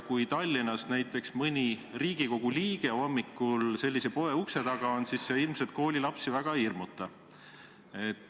Kui Tallinnas näiteks mõni Riigikogu liige hommikul sellise poe ukse taga on, siis see ilmselt koolilapsi väga ei hirmuta.